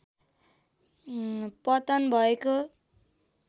पतन भएको